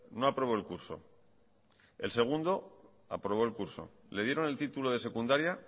no aprobó el curso el segundo aprobó el curso le dieron el título de secundaria